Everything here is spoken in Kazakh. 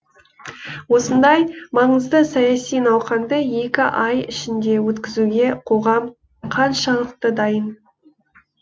осындай маңызды саяси науқанды екі ай ішінде өткізуге қоғам қаншалықты дайын